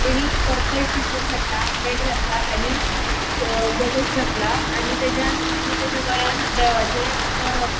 तेणि purple T shirt घातला pant घातला आणि गॉगल्स घातला आणि तेज्यान तेज्या गळ्यान देवाचे दोरो आसा.